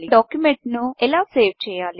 ఒక డాక్యుమెంట్ను ఎలా సేవ్ చేయాలి